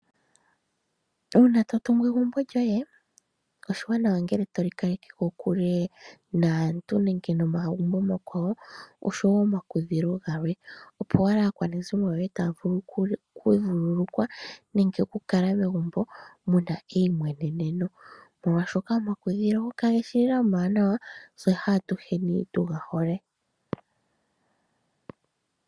Uuna to tungu egumbo lyoye, oshiwanawa ngele toli kaleke kokule naantu nenge momagumbo omakwawo oshowo omakudhilo galwe , opo owala aakwanezimo yoye taya vulu okuvululukwa nenge okukala megumbo mu na eimweneneno. Molwaashoka omakudhilo kage shi lela omawanawa tse atuheni katu ga hole.